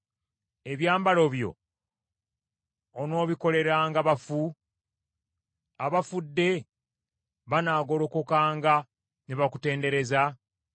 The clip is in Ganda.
Ebyamagero byo onoobikoleranga bafu? Abafudde banaagolokokanga ne bakutendereza?